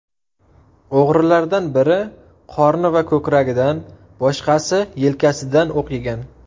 O‘g‘rilardan biri qorni va ko‘kragidan, boshqasi yelkasidan o‘q yegan.